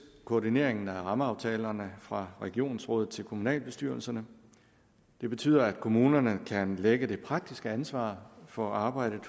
koordineringen af rammeaftalerne fra regionsrådet til kommunalbestyrelserne det betyder at kommunerne kan lægge det praktiske ansvar for arbejdet